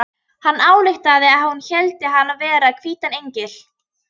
Hann ályktaði að hún héldi hann vera hvítan engil.